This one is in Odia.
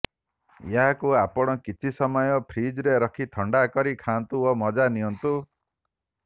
ଏହାକୁ ଆପଣ କିଛି ସମୟ ଫ୍ରିଜରେ ରଖି ଥଣ୍ଡା କରି ଖାଆନ୍ତୁ ଓ ମଜା ନିଅନ୍ତୁ